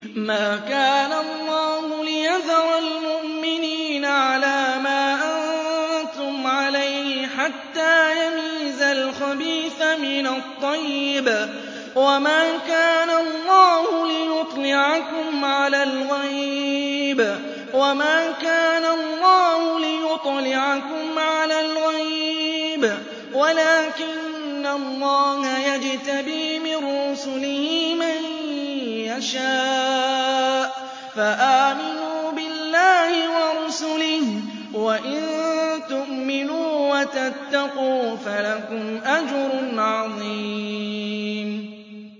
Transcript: مَّا كَانَ اللَّهُ لِيَذَرَ الْمُؤْمِنِينَ عَلَىٰ مَا أَنتُمْ عَلَيْهِ حَتَّىٰ يَمِيزَ الْخَبِيثَ مِنَ الطَّيِّبِ ۗ وَمَا كَانَ اللَّهُ لِيُطْلِعَكُمْ عَلَى الْغَيْبِ وَلَٰكِنَّ اللَّهَ يَجْتَبِي مِن رُّسُلِهِ مَن يَشَاءُ ۖ فَآمِنُوا بِاللَّهِ وَرُسُلِهِ ۚ وَإِن تُؤْمِنُوا وَتَتَّقُوا فَلَكُمْ أَجْرٌ عَظِيمٌ